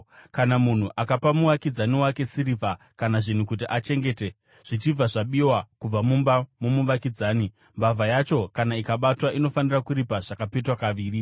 “Kana munhu akapa muvakidzani wake sirivha kana zvinhu kuti achengete zvichibva zvabiwa kubva mumba momuvakidzani, mbavha yacho, kana ikabatwa, inofanira kuripa zvakapetwa kaviri.